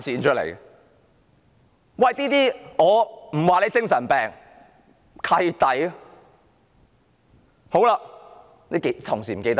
我不說他是精神病，但我會說是"契弟"。